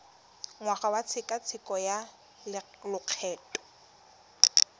ngwaga wa tshekatsheko ya lokgetho